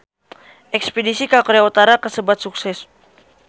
Espedisi ka Korea Utara kasebat sukses